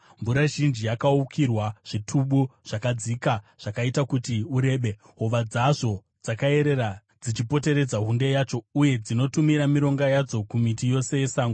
Mvura zhinji yakaupa zvokudya, zvitubu zvakadzika zvakaita kuti urebe; hova dzacho dzakayerera dzichipoteredza hunde, uye dzakatumira mironga yadzo kumiti yose yesango.